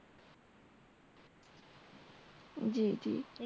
জী জী